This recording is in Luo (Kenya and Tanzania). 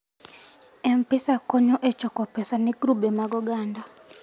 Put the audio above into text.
M-Pesa konyo e choko pesa ne grube mag oganda.